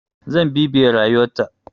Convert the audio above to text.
Zan bibiye rayuwar ta.